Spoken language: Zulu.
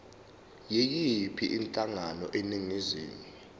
yiyiphi inhlangano eningizimu